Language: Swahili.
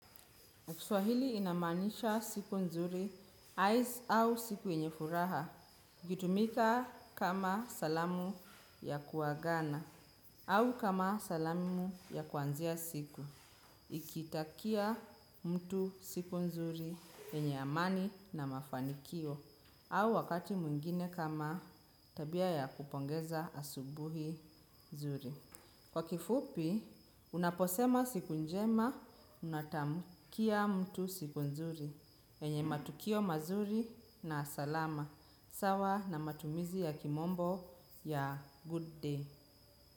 Kiswahili inamaanisha siku nzuri, ice au siku yenye furaha, ikitumika kama salamu ya kuagana, au kama salamu ya kuanzia siku, ikitakia mtu siku nzuri yenye amani na mafanikio, au wakati mwingine kama tabia ya kupongeza asubuhi nzuri. Kwa kifupi, unaposema siku njema, unatamkia mtu siku nzuri. Yenye matukio mazuri na salama. Sawa na matumizi ya kimombo ya good day.